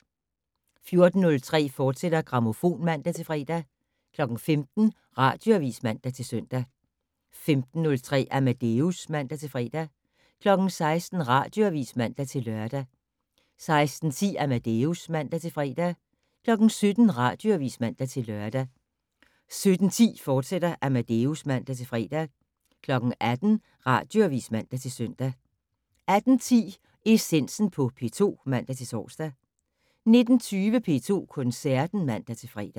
14:03: Grammofon, fortsat (man-fre) 15:00: Radioavis (man-søn) 15:03: Amadeus (man-fre) 16:00: Radioavis (man-lør) 16:10: Amadeus (man-fre) 17:00: Radioavis (man-lør) 17:10: Amadeus, fortsat (man-fre) 18:00: Radioavis (man-søn) 18:10: Essensen på P2 (man-tor) 19:20: P2 Koncerten (man-fre)